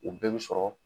U bɛɛ bi sɔrɔ